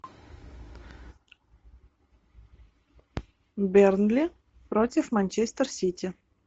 бернли против манчестер сити